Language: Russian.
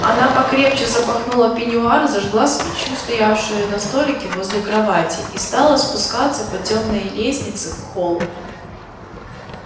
она покрепче запахнула пеньюар зажгла свечу стоявшую на столике возле кровати и стала спускаться по тёмной лестнице в холл